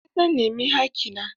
Eh, zan nemi haƙƙina